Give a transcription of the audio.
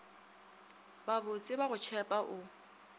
babotse ba go tšhepa o